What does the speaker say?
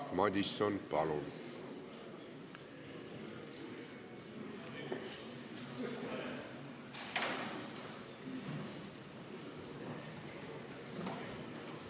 Jaak Madison, palun!